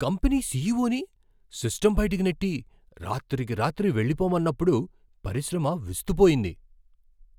Company సీఈవోని system బయటకు నెట్టి, రాత్రికి రాత్రి వెళ్ళిపొమ్మన్నప్పుడు పరిశ్రమ విస్తుపోయింది.